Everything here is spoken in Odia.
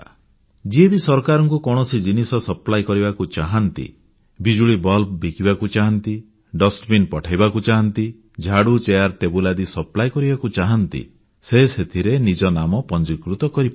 ଯିଏ ବି ସରକାରଙ୍କୁ କୌଣସି ଜିନିଷ ସପ୍ଲାଇ କରିବାକୁ ଚାହାଁନ୍ତି ବିଜୁଳି ବଲ୍ବ ବିକିବାକୁ ଚାହାଁନ୍ତି ଡଷ୍ଟବିନ୍ ପଠାଇବାକୁ ଚାହାଁନ୍ତି ଝାଡ଼ୁ ଚେୟାର ଟେବୁଲ ଆଦି ସପ୍ଲାଇ କରିବାକୁ ଚାହାଁନ୍ତି ସେ ସେଥିରେ ନିଜ ନାମ ପଂଜୀକୃତ କରିପାରନ୍ତି